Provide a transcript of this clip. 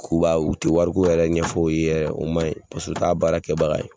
K'u b'a u, u tɛ wariko yɛrɛ ɲɛfɔ o yɛrɛ o ma ɲi, paseke o t'a baara kɛbaga ye.